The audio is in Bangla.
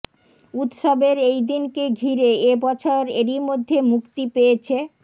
উৎসবের এই দিনকে ঘিরে এ বছর এরই মধ্যে মুক্তি পেয়েছে